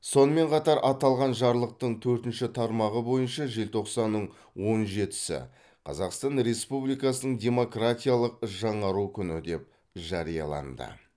сонымен қатар аталған жарлықтың төртінші тармағы бойынша желтоқсанның он жетісі қазақстан республикасының демократиялық жаңару күні деп жарияланды